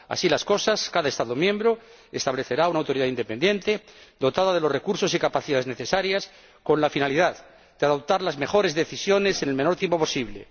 así las cosas, cada Estado miembro establecerá una autoridad independiente dotada de los recursos y capacidades necesarios con la finalidad de adoptar las mejores decisiones en el menor tiempo posible.